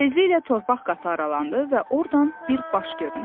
Tezliklə torpaq qatı aralandı və ordan bir baş göründü.